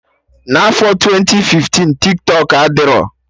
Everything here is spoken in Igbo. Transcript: N'afọ twenti fiftin, Tiktọk adịrọ